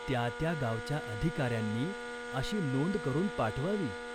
त्या त्या गावच्या अधिकार्यांनी अशी नोंद करून पाठवावी.